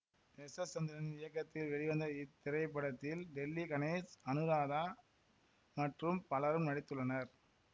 S S Chandran இயக்கத்தில் வெளிவந்த இத்திரைப்படத்தில் டெல்லி கணேஷ் அனுராதா மற்றும் பலரும் நடித்துள்ளனர்